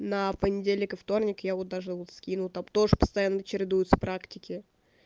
на понедельник и вторник я вот даже вот скину там тоже постоянно чередуются практики